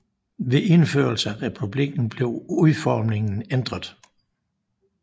Ved indførelse af republikken blev udformingen ændret